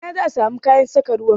A ina zaa samu kayan saka ruwan?